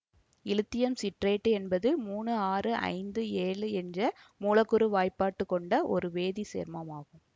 இலித்தியம் சிட்ரேட்டு என்பது மூணு ஆறு ஐந்து ஏழு என்ற மூலக்கூற்று வாய்ப்பாடு கொண்ட ஒரு வேதி சேர்மம் ஆகும்